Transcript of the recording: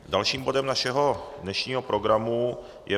Dalším bodem našeho dnešního programu je